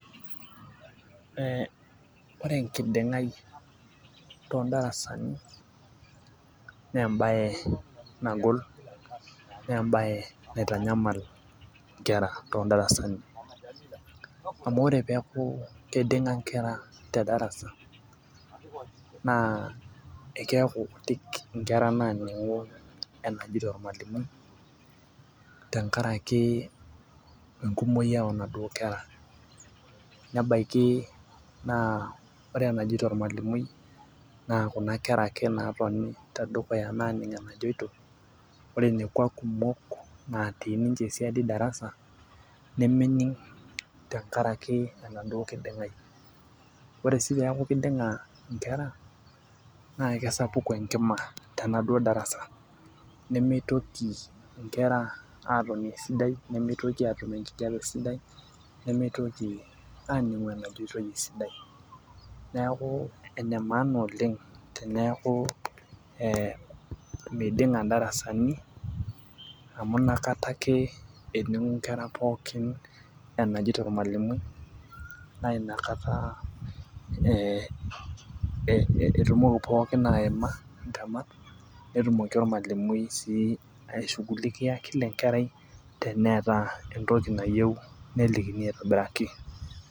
ee ore enkiding'ai too darasani, naa embaye nagol naa ebaye naitanyamal nkera. too darsani amu ore peeku kiding'a nkera tedarasa. ekeeku kutik nkera naaning'u enajito ormalimui tenkaraki, enkumoi. nebaiki naa ore enajito olamalimui na kuna kera ake naatoni tedukuya naaning'u enajito, ore nekua kumok natii ninche siadi darsa nemening' tenkaraki enaduoo kiding'ai. ore sii peeku kiding'a nkera neeku kisapuk enkima tenaduoo darasa nemetoki nkera, aatoni esidai nemitoki atum enkijiape esidai. nemeitoki aaning'u enajoitoi esidai. neeku ene maana oleng teneeku ee meiding'a darasani amu inakata ake ening'u nkera pookin enajeito ormalimui. naa inakata etumoki pookin aima intemat. netumoki ormalimui aishugulikia kila enkerai teneeta entoki nayieu nelikini aitobiraki.